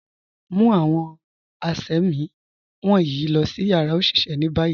Mu awọn àṣẹ̀mí wọnyi lọ̀ si yara oṣiṣẹ̀ ni bayi.